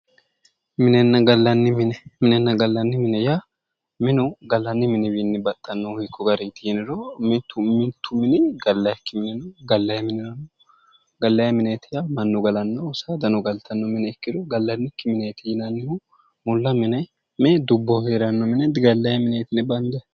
Minenna gallanni mine, minenna gallanni mine yaa, minu gallanni miniwinni baxxanohu hiikku gariniti yinniro, mitu mini gallanikkihu no, gallanni mineeti yaa mannuno saadano galttano mine gallanni mineeti yinnannihu, mulla mine dubboho heeranno mine digallanni mineeti yinne bandanni.